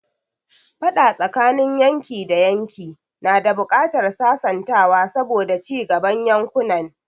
Faɗa tsakanin yanki da yanki na da buƙatar sasantawa saboda cigaban yankunan.